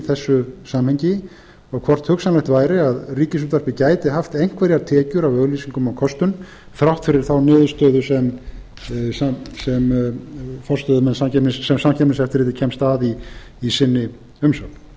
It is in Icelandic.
þessu samhengi og hvort hugsanlegt væri að ríkisútvarpið gæti haft einhverjar tekjur af auglýsingum og kostun þrátt fyrir þá niðurstöðu sem samkeppniseftirlitið kemst að í sinni umsögn